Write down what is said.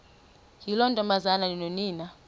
yiloo ntombazana nonina